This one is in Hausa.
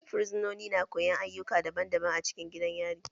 Fursunoni na koyon ayyuka daban daban acikin gidan yari.